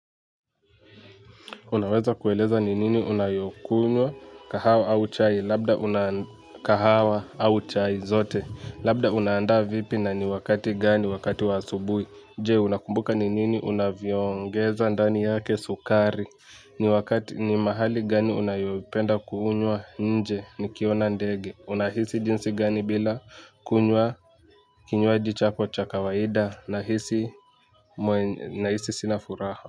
Unaweza kueleza ni nini unayokunywa, kahawa au chai, labda unakahawa au chai zote, labda unandaa vipi na ni wakati gani, wakati wa asubui, je unakumbuka ni nini unaviongeza, ndani yake sukari, ni wakati ni mahali gani unayopenda kuhunywa, nje nikiona ndege, unahisi jinsi gani bila kunywa, kinywaji chako cha kawaida, nahisi sinafuraha.